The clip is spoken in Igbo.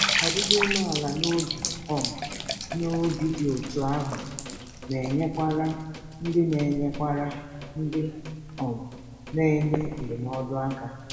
Ọdịdị umeala um n’obi dị otú ahụ na-enyerekwa ndị na-enyerekwa ndị um na-enye um ndụmọdụ aka.